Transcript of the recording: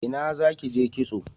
Ina za ki je kitso?